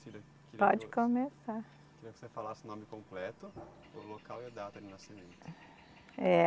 Pode começar. Queria que você falasse o nome completo, o local e a data de nascimento. Eh